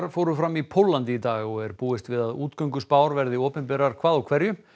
fóru fram í Póllandi í dag og er búist við að verði opinberar hvað úr hverju